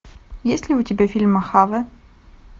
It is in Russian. есть ли у тебя фильм мохаве